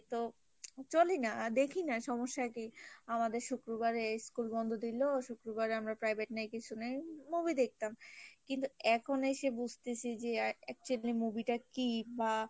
চলি না দেখি না সমস্যা কি আমাদের শুক্রবারে এই school বন্ধ দিল শুক্রুবারে আমর privet নেই কিছু নেই movie দেখতাম কিন্তু এখন এসে বুঝতেছি যে actually movie টা কি বা